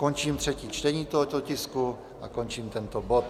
Končím třetí čtení tohoto tisku a končím tento bod.